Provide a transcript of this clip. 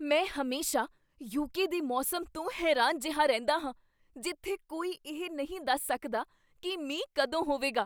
ਮੈਂ ਹਮੇਸ਼ਾ ਯੂਕੇ ਦੇ ਮੌਸਮ ਤੋਂ ਹੈਰਾਨ ਜਿਹਾ ਰਹਿੰਦਾ ਹਾਂ ਜਿੱਥੇ ਕੋਈ ਇਹ ਨਹੀਂ ਦੱਸ ਸਕਦਾ ਕੀ ਮੀਂਹ ਕਦੋਂ ਹੋਵੇਗਾ।